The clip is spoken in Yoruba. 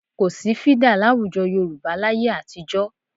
Kò sí fídà láwùjọ Yorùbá láyé àtijọ́